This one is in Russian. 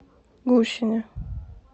гущине